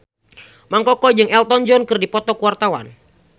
Mang Koko jeung Elton John keur dipoto ku wartawan